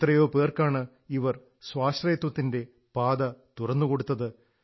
എത്രയോ പേർക്കാണ് ഇവർ സ്വാശ്രയത്വത്തിന്റെ പാത തുറന്നു കൊടുത്തത്